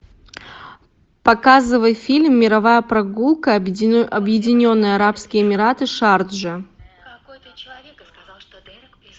показывай фильм мировая прогулка объединенные арабские эмираты шарджа